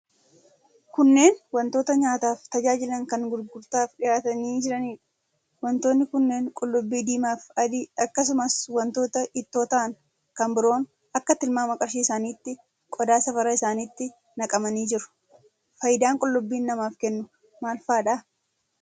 Kunneen wantoota nyaataaf tajaajilan kan gurgurtaaf dhihaatanii jiraniidha. Wantoonni kunneen qullubbii diimaafi adii, akkasumas wantoota ittoo ta'an kan biroon akka tilmaama qarshii isaaniitti qodaa safaraa isaaniitti naqamanii jiru. Faayidaa qullubbiin namaaf kennu maal faadha?